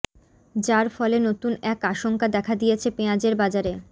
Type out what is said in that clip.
যার ফলে নতুন এক আশঙ্কা দেখা দিয়েছে পেঁয়াজের বাজারে